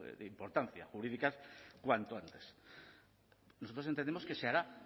de importancia jurídica cuanto antes nosotros entendemos que se hará